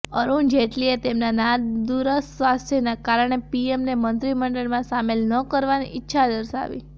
અરૂણ જેટલીએ તેમના નાદુરસ્ત સ્વાસ્થ્યના કારણે પીએમને મંત્રીમંડળમાં સામેલ ન કરવાની ઈચ્છા દર્શાવી